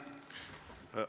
Aitäh!